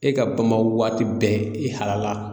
E ka bama waati bɛɛ i halala.